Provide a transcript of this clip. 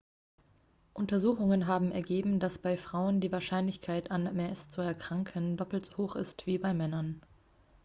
untersuchungen haben ergeben dass bei frauen die wahrscheinlichkeit an ms zu erkranken doppelt so hoch ist wie bei männern